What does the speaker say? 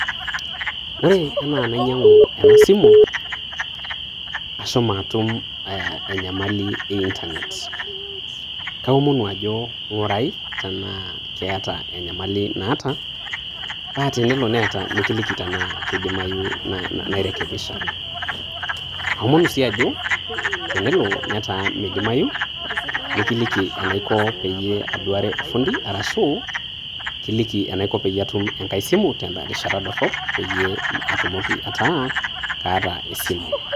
Ore anaa nainyang'u ena simu, ashomo atum enyamali e intanet. Kaomonu ajo, ing'urai tanaa keata enyamali naata Naa tenelo neeta nikiliki tanaa keidimayu tana nairekebisha. Aomonu sii ajo, tenelo netaa meidimayu, nikiliki enaiko peiyie aduare olfundi arashu kiliki enaiko peyie atum enkai simu tena rishata dorop, peiyee atumoki ataa kaata esimu